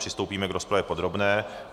Přistoupíme k rozpravě podrobné.